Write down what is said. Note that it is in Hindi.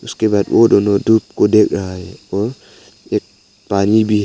उसके बाद वो दोनों धूप को देख रहा है और एक पानी भी है।